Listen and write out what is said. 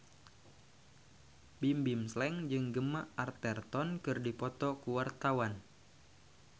Bimbim Slank jeung Gemma Arterton keur dipoto ku wartawan